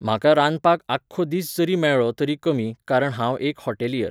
म्हाका रांदपाक आख्खो दीस जरी मेळ्ळो तरी कमी, कारण हांव एक हॉटेलियर .